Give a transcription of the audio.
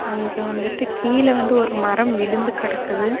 அங்கே வந்துட்டு கீழ வந்து ஒரு மரம் விழுந்து கடக்குது.